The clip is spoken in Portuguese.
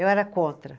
Eu era contra.